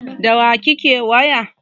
Da wa kake waya?